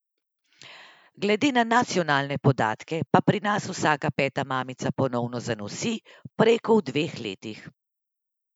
Glede na nacionalne podatke pa pri nas vsaka peta mamica ponovno zanosi prej kot v dveh letih.